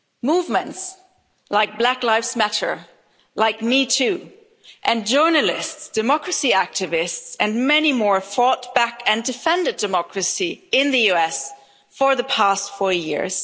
Movements like Black Lives Matter, like Me Too, and journalists, democracy activists and many more fought back and defended democracy in the US for the past four years.